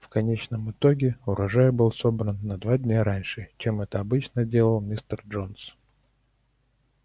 в конечном итоге урожай был собран на два дня раньше чем это обычно делал мистер джонс